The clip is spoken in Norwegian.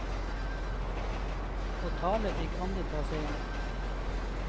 Å tale fikk andre ta seg av.